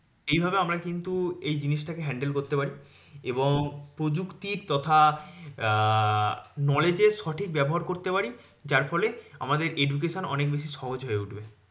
এইভাবে আমরা কিন্তু এই জিনিসটাকে handle করতে পারি। এবং প্রযুক্তির তথা আহ knowledge এর সঠিক ব্যবহার করতে পারি। যারফলে আমাদের education অনেক বেশি সহজ হয়ে উঠবে।